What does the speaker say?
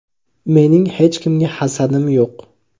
Mening hech kimga hasadim yo‘q.